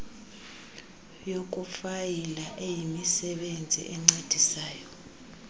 yokufayila eyimisebenzi encedisayo